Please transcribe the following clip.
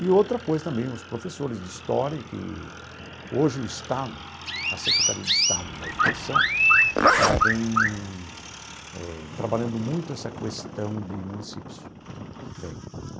E outra coisa também, os professores de história, que hoje o Estado, a Secretaria de Estado da Educação, ela vem eh trabalhando muito essa questão de municípios vem.